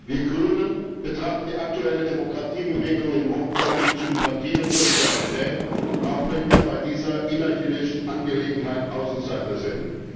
Wir Grünen betrachten die aktuelle Demokratiebewegung in Hongkong mit Sympathie und Solidarität, auch wenn wir bei dieser innerchinesischen Angelegenheit Außenseiter sind.